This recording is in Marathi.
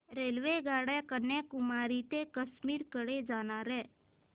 रेल्वेगाड्या कन्याकुमारी ते काश्मीर कडे जाणाऱ्या